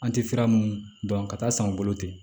An tɛ sira mun dɔn ka taa san u bolo ten